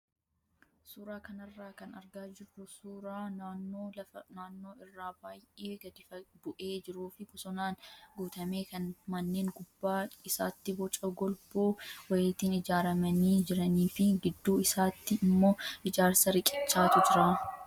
Suuraa kanarraa kan argaa jirru suuraa naannoo lafa naannoo irraa baay'ee gadi bu'ee jiruu fi bosonaan guutame kan manneen gubbaa isaatti boca golboo wayiitiin ijaaramanii jiranii fi gidduu isaatti immoo ijaarsa riqichaatu jira.